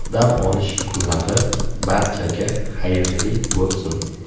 Dam olish kunlari barchaga xayrli bo‘lsin!